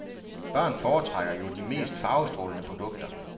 Børn foretrækker jo de mest farvestrålende produkter.